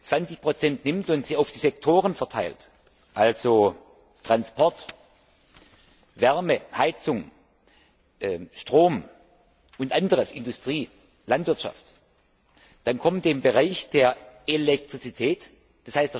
20 nimmt und auf die Sektoren verteilt, also Transport, Wärme, Heizung, Strom und anderes, Industrie, Landwirtschaft, dann kommt dem Bereich der Elektrizität, d.